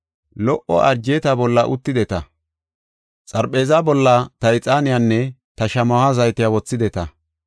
Lo77o arjeeta bolla uttideta; xarpheeza bolla ta ixaaniyanne ta shamaho zaytiya wothideta.